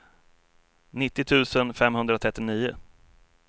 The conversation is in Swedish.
nittio tusen femhundratrettionio